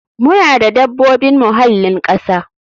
Muna da dabobin muhallin kasa.